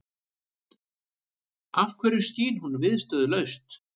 Af hverju skín hún viðstöðulaust?